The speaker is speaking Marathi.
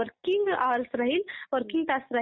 टायमिंगस टायमिंगस त्याच्यामध्ये